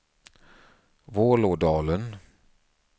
Vålådalen